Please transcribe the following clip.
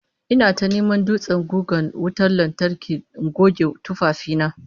Ina ta neman dutsen gugan wutan lantarki in goge tufafi na